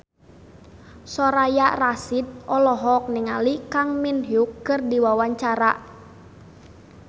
Soraya Rasyid olohok ningali Kang Min Hyuk keur diwawancara